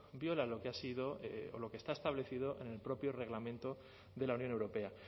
violan lo que ha sido o lo que está establecido en el propio reglamento de la unión europea